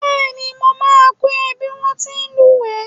Bẹ́ẹ̀ni, mo máa kọ́ ọ ní bí wón ti ń lúùwẹ́.